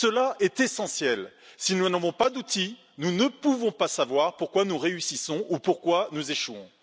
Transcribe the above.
Cela est essentiel si nous n'avons pas d'outils, nous ne pouvons pas savoir pourquoi nous réussissons ou pourquoi nous échouons.